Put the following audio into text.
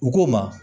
U k'o ma